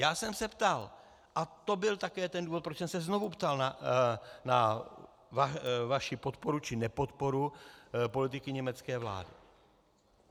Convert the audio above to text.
Já jsem se ptal - a to byl také ten důvod, proč jsem se znovu ptal na vaši podporu či nepodporu politiky německé vlády.